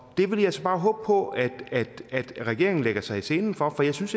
det vil jeg så bare håbe på at regeringen lægger sig i selen for for jeg synes